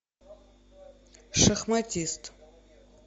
шахматист